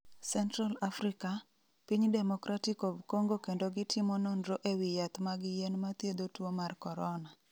Central Africa, Piny Democratic of Congo kendo gitimo nonro ewi yath mag yien mathiedho tuo mar korona.